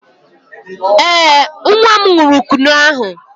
Ee, nwa m ṅụrụ Kunu ahụ.